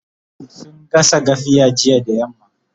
sun gasa gafiya jiya da yamma